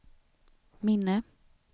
minne